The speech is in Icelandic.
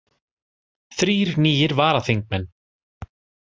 Þrír nýir varaþingmenn